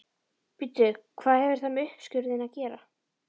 Bíddu hvað hefur það með uppskurðinn að gera?